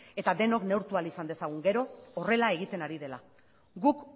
eta denok neurtu ahal izan dezagun gero horrela egiten ari dela guk